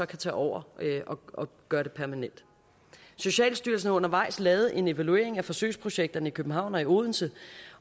kan tage over og gøre det permanent socialstyrelsen har undervejs lavet en evaluering af forsøgsprojekterne i københavn og i odense